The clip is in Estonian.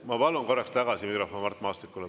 Ma palun korraks tagasi mikrofon Mart Maastikule.